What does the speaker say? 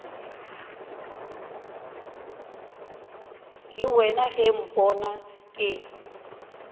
le wena ge mpona ke